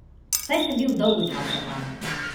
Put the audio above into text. Saj sem bil dolgo časa tam.